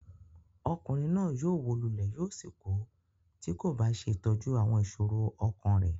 Ọkùnrin náà yóò wó lulẹ̀ yóò sì kú tí kò bá ṣe ìtọ́jú àwọn ìṣòro ọkàn rẹ̀.